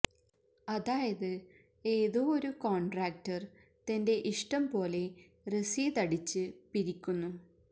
അതായത് ഏതോ ഒരു കോൺട്രാക്ടർ തന്റെ ഇഷ്ടം പോലെ രസീത് അടിച്ച് പിരിക്കുന്നു